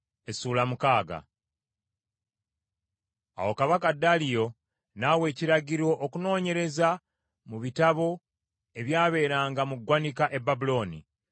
Awo kabaka Daliyo n’awa ekiragiro okunoonyereza mu bitabo ebyabeeranga mu ggwanika e Babulooni.